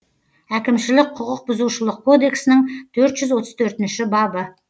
әкімшілік құқық бұзушылық кодексінің төрт жүз отыз төртінші бабы